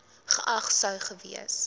geag sou gewees